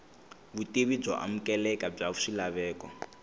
vutivi byo amukeleka bya swilaveko